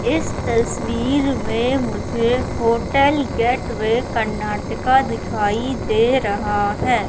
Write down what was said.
इस तस्वीर में मुझे होटल गेटवे कर्नाटका दिखाई दे रहा है।